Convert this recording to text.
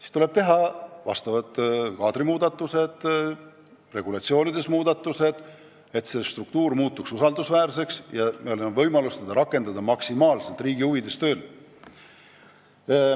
Siis tuleb teha vajalikud kaadrimuudatused või regulatsioonide muudatused, et struktuur muutuks usaldusväärseks ja selle saaks maksimaalselt riigi huvides tööle panna.